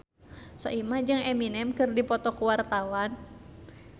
Soimah jeung Eminem keur dipoto ku wartawan